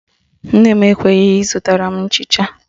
Nne m ekweghị ịzụtara m nchịcha